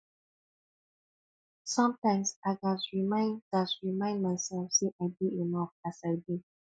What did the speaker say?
sometimes i gats remind gats remind myself say i dey enough as i be